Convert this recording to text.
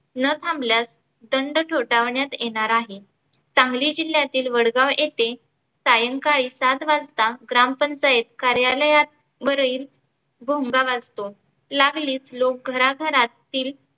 न थांबल्यास दंड थोटावण्यात येणार आहे. सांगली जिल्ह्यातील वडगाव येथे सायंकाळी सात वाजता ग्रामपंचायत कार्यलयात वरील भोंगा वाजतो लागलीच लोक घरा घरात तील